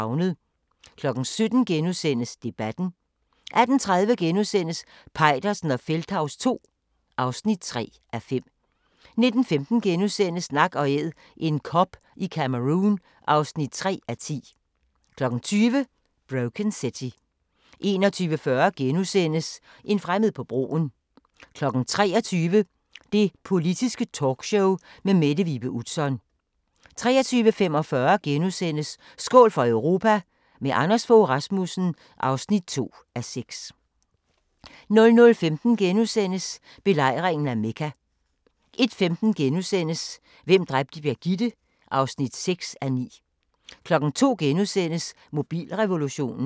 17:00: Debatten * 18:30: Peitersen og Feldthaus II (3:5)* 19:15: Nak & Æd – en kob i Cameroun (3:10)* 20:00: Broken City 21:40: En fremmed på broen * 23:00: Det Politiske Talkshow med Mette Vibe Utzon 23:45: Skål for Europa – med Anders Fogh Rasmussen (2:6)* 00:15: Belejringen af Mekka * 01:15: Hvem dræbte Birgitte? (6:9)* 02:00: Mobilrevolutionen *